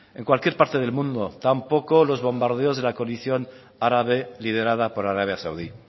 en cualquier parte del mundo tampoco los bombardeos de la coalición árabe liderada por arabia saudí y